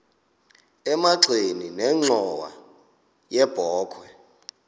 emagxeni nenxhowa yebokhwe